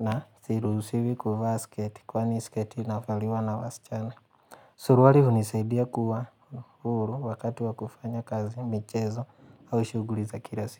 na siruhusiwi kuvaa sketi kwani sketi inavaliwa na wasichana. Suruari hunisadia kuwa huru wakati wa kufanya kazi michezo au shughuli za kila siku.